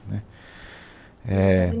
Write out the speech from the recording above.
Né, éh